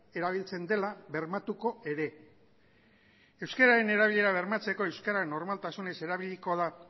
erabiltzen dela bermatuko ere euskararen erabilera bermatzeko euskara normaltasunez erabiliko da